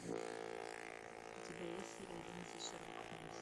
у тебя есть серия одиннадцать шерлок холмс